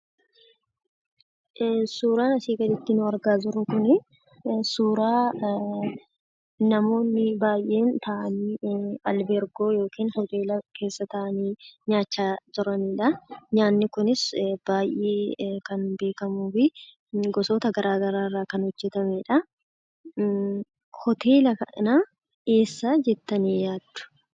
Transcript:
Suuraan asii gadiitti nu argaa jirru kunii suuraa namoonni baayyeen taa'anii albeergoo yookiin hoteela keessa taa'anii nyaachaa turanidhaa nyaanni kunis baayyee kan beekamuufi gosoota gara garaarraa kana hojjatamedha. Hoteela kana eessa jettanii yaaddu?